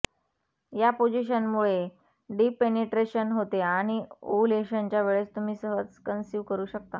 या पोजिशनमुळे deep penetration होते आणि ओवूलेशनच्या वेळेस तुम्ही सहज कंसिव्ह करू शकता